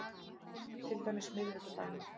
Til dæmis miðvikudaginn